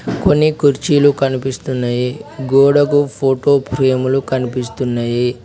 కొన్ని కుర్చీలు కనిపిస్తున్నయి గోడకు ఫోటో ఫ్రేములు లు కనిపిస్తున్నాయి.